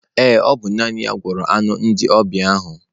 Ee, ọ bụ naanị ya gwere anụ ndị ọbịa ahụ